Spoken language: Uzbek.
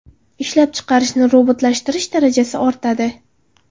Ishlab chiqarishni robotlashtirish darajasi ortadi.